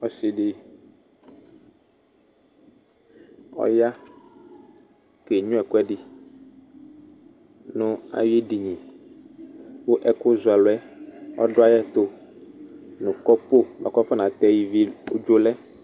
Ɔsidi ɔya kenyua ɛkuɛdi nayedini ku ɛkuzualu ɔdayitu nu kɔpu buaku afɔ natɛ ivi lɛ